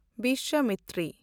Biswamitri